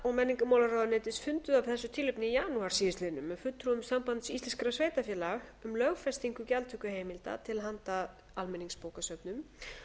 og menningarmálaráðuneytis funduðu af þessu tilefni í janúar síðastliðnum með fulltrúum sambands íslenskra sveitarfélaga um lögfestingu gjaldtökuheimilda til handa almenningsbókasöfnum